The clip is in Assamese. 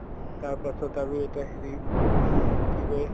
তাৰপাছত আৰু এইটো হেৰি উম কি কয়